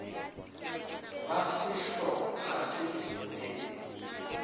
ba sehlo pha se itseng